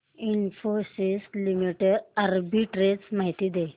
Infosys limited arbitrage माहिती दे